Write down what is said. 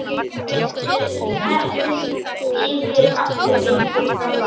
Setur teppið yfir aftur eins og það var.